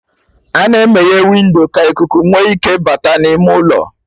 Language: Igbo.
A-na emeye windo ka ikuku nwe ike bata n'ime ụlọ